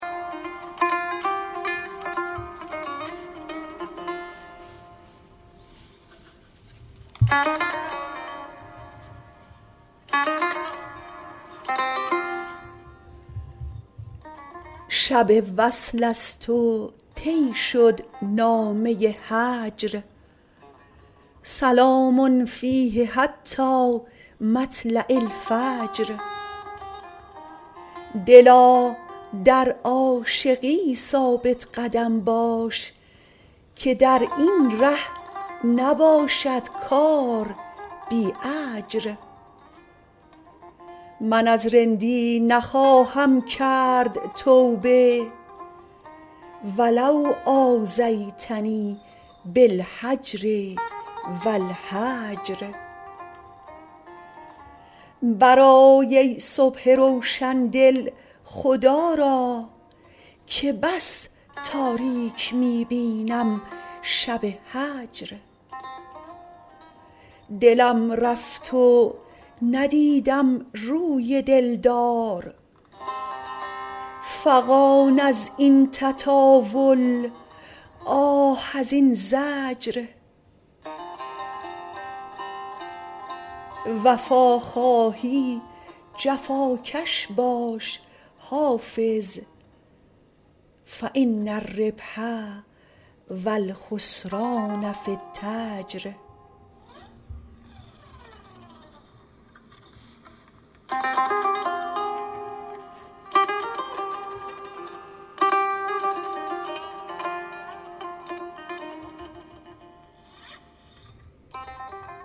شب وصل است و طی شد نامه هجر سلام فیه حتی مطلع الفجر دلا در عاشقی ثابت قدم باش که در این ره نباشد کار بی اجر من از رندی نخواهم کرد توبه و لو آذیتنی بالهجر و الحجر برآی ای صبح روشن دل خدا را که بس تاریک می بینم شب هجر دلم رفت و ندیدم روی دل دار فغان از این تطاول آه از این زجر وفا خواهی جفاکش باش حافظ فان الربح و الخسران في التجر